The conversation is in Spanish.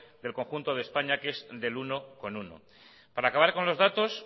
del conjunto de españa que es del uno coma uno para acabar con los datos